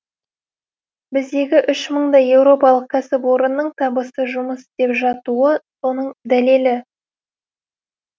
біздегі үш мыңдай еуропалық кәсіпорынның табысты жұмыс істеп жатуы соның дәлелі